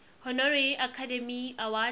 honorary academy award